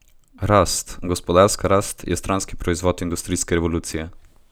Rast, gospodarska rast, je stranski proizvod industrijske revolucije.